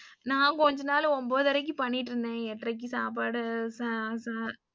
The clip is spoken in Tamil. நான் கொஞ்ச நாள் ஒம்பதரைக்கு பண்ணிட்டு இருந்தேன் எட்டரைக்கு சாப்பாடு ச ச.